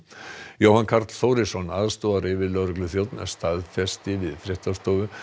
Jóhann Karl Þórisson aðstoðaryfirlögregluþjónn staðfesti við fréttastofu